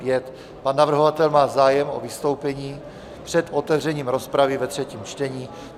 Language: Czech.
Pan navrhovatel má zájem o vystoupení před otevřením rozpravy ve třetím čtení.